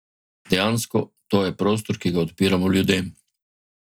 Dejansko, to je prostor, ki ga odpiramo ljudem.